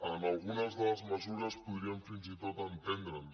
en algunes de les mesures podríem fins i tot enten·dre’ns